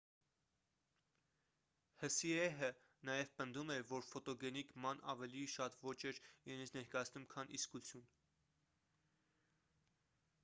հսիեհը նաև պնդում էր որ ֆոտոգենիկ ման ավելի շատ ոճ էր իրենից ներկայացնում քան իսկություն